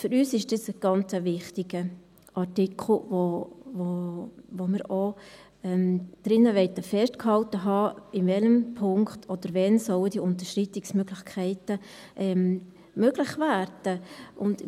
Für uns ist das ein ganz wichtiger Artikel, in dem wir auch festgehalten haben möchten, in welchem Punkt oder wann diese Unterschreitungsmöglichkeiten möglich werden sollen.